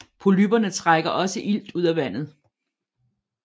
Polypperne trækker også ilt ud af vandet